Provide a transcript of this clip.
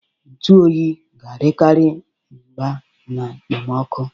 Ntụ oyi ga-adịkarị mgba na ekpemoku.